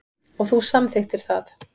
Og þú samþykktir það.